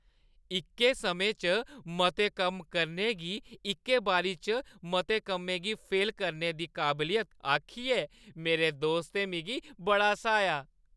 इक्कै समें च मते कम्म करने गी इक्कै बारी च मते कम्में गी फेल करने दी काबलियत आखियै मेरे दोस्तै मिगी बड़ा स्हाया ।